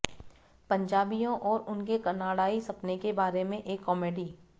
पंजाबियों और उनके कनाडाई सपने के बारे में एक कॉमेडी